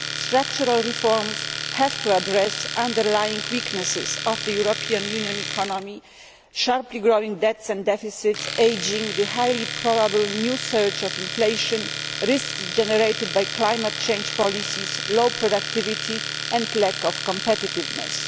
Structural reforms have to address the underlying weaknesses of the European Union economy sharply growing debts and deficits, ageing, the highly probable new surge of inflation, risks generated by climate change policies, low productivity and lack of competitiveness.